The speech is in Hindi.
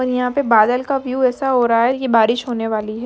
और यहाँ पे बादल का व्यूव ऐसा हो रहा की बारिश होने वाली है।